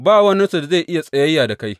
Ba waninsu da zai iya tsayayya da kai.